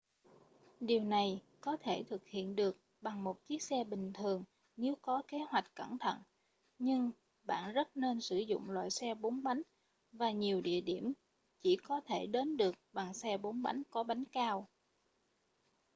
điều này có thể thực hiện được bằng một chiếc xe bình thường nếu có kế hoạch cẩn thận nhưng bạn rất nên sử dụng loại xe 4 bánh và nhiều địa điểm chỉ có thể đến được bằng xe 4 bánh có bánh cao